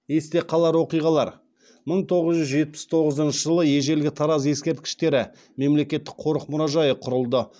есте қалар оқиғалар мың тоғыз жүз жетпіс тоғызыншы жылы ежелгі тараз ескерткіштері мемлекеттік қорық мұражайы құрылды